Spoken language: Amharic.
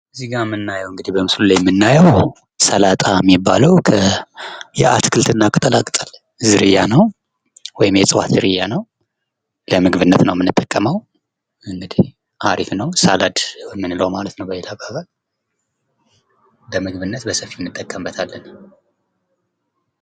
እዚህ ላይ የምናየው እንግዲህ በምስሉ ላይ የምናየው ሰላጣ ነው የአትክልት እና ቅጠላቅጠል ዝርያ ነው። የእጽዋት ዝርያ ነው። ለምግብነት ነው የምንጠቀመው። አሪፍ ነው ሳላድ የምንለው ማለት ነው በሌላ አባባል ለምግብነት በሰፊ እንጠቀምበታለን።